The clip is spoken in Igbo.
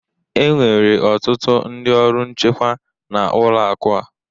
Enwere ọtụtụ ndị ọrụ nchekwa na ụlọ akụ a